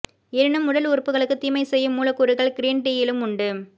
எனினும் உடல் உறுப்புகளுக்கு தீமை செய்யும் மூலக் கூறுகள் கிரீன் டீயிலும் உண்டு